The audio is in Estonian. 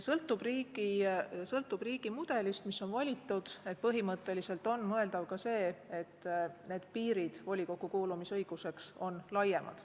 Sõltub riigi mudelist, mis on valitud, põhimõtteliselt on mõeldav ka see, et volikokku kuulumise õiguse piirid on laiemad.